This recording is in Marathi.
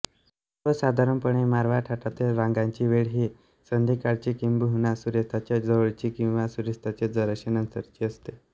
सर्वसाधारणपणे मारवा थाटातील रागांची वेळ ही संध्याकाळची किंबहुना सूर्यास्ताच्या जवळची किंवा सूर्यास्ताच्या जराश्या नंतरची असते